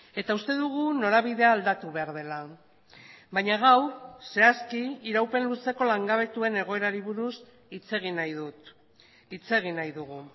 eta uste dugu norabidea aldatu behar dela baina gaur zehazki iraupen luzeko langabetuen egoerari buruz hitz egin nahi dut hitz egin nahi dugu